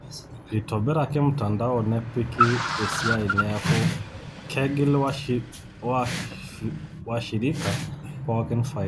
Eitobiraki mtandao nepiki esiai neaku kegil washirika pookin faida.